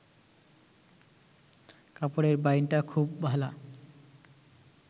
কাপড়ের বাইনটা খুব ভালা